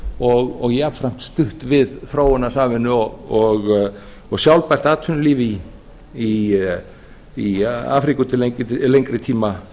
kolefnisjafnað og jafnframt stutt við þróunarsamvinnu og sjálfbært atvinnulíf í afríku til lengri tíma